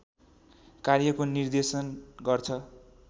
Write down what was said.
कार्यको निर्देश गर्छ